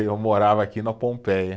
Eu morava aqui na Pompeia.